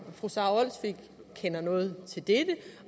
fru sara olsvig kender noget til det